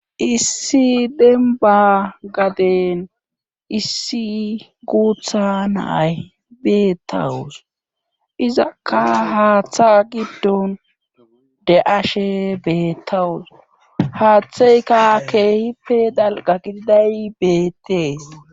issi dembba gaden issi guutha na7ay beettawus izakka haatha giddon de7ashe beettawus haatheyka keehipe dalgga gididay beettees.